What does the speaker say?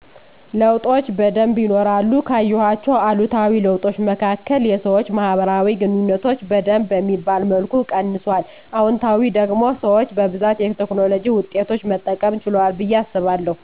ለዉጦች በደንብ ይኖራሉ ካየዋቸዉ አሉታዊ ለዉጦች መካከል የሰወች ማህበራዊ ግንኙነቶች በደንብ በሚባል መልኩ ቀንሱአል። አዎንታዊ ደግሞ ሰወች በብዛት የቴክኖሎጅ ዉጤቶች መጠቀም ችለዋል በየ አሰባለዉ።